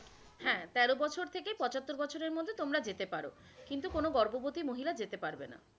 হ্যাঁ, তের বছর থেকে পচাত্তর বছরের মধ্যে তোমরা যেতে পারো কিন্তু কোন গর্ভবতী মহিলা যেতে পারবে না।